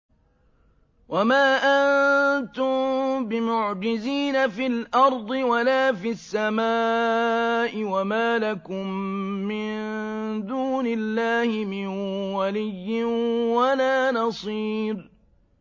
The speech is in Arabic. وَمَا أَنتُم بِمُعْجِزِينَ فِي الْأَرْضِ وَلَا فِي السَّمَاءِ ۖ وَمَا لَكُم مِّن دُونِ اللَّهِ مِن وَلِيٍّ وَلَا نَصِيرٍ